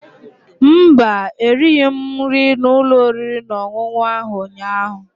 Mba, erighị m nri n'ụlọ oriri na ọṅụṅụ ahụ ụnyaahụ